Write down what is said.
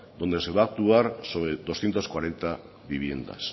donde se va a actuar sobre doscientos cuarenta viviendas